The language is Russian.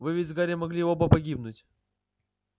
вы ведь с гарри могли оба погибнуть